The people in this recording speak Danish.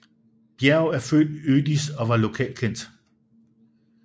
Bjerg er født i Ødis og var lokalkendt